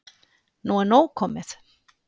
Nú er nóg komið!